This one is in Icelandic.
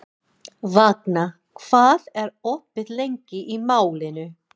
Vagna, hvað er opið lengi í Málinu?